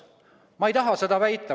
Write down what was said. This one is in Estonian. Ma ei taha seda väita.